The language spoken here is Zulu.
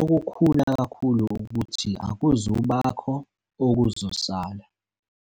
okukhula kakhulu ukuthi akuzubakho okuzosala.